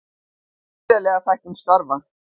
Gríðarleg fækkun starfa